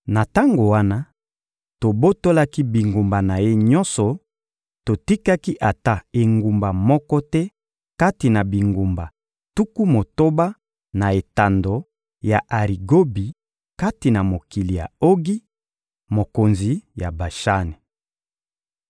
Na tango wana, tobotolaki bingumba na ye nyonso, totikaki ata engumba moko te kati na bingumba tuku motoba na etando ya Arigobi kati na mokili ya Ogi, mokonzi ya Bashani.